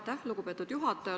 Aitäh, lugupeetud juhataja!